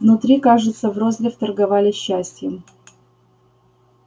внутри кажется в розлив торговали счастьем